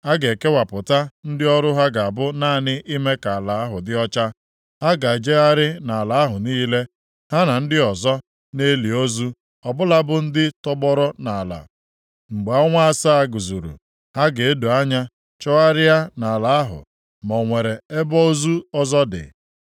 A ga-ekewapụtakwa ndị ọrụ ha ga-abụ naanị ime ka ala ahụ dị ọcha. Ha ga-ejegharị nʼala ahụ niile, ha na ndị ọzọ, na-eli ozu ọbụla bụ ndị tọgbọrọ nʼala. “ ‘Mgbe ọnwa asaa zuru, ha ga-edo anya chọgharịa nʼala ahụ ma o nwere ebe ozu ọzọ dị.